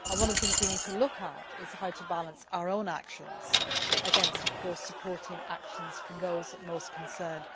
One of the things we need to look at is how to balance our own actions against supporting actions from those most concerned.